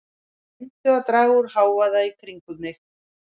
Reyndu að draga úr hávaða kringum þig.